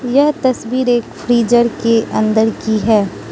यह तस्वीर एक फ्रीजर के अंदर की है।